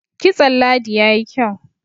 kitson ladi ya yi kyau